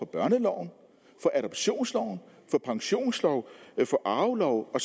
børneloven for adoptionsloven for pensionsloven for arveloven og